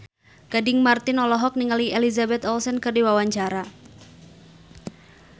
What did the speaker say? Gading Marten olohok ningali Elizabeth Olsen keur diwawancara